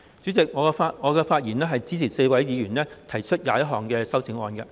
主席，我發言是支持4位議員提出的21項修正案。